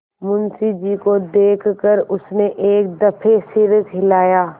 मुंशी जी को देख कर उसने एक दफे सिर हिलाया